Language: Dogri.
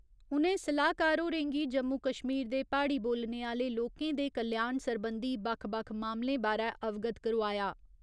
उ'नें सलाह्कार होरें गी जम्मू कश्मीर दे प्हाड़ी बोलने आह्‌ले लोकें दे कल्याण सरबंधी बक्ख बक्ख मामलें बारै अवगत करोआया।